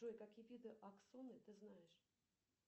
джой какие виды аксоны ты знаешь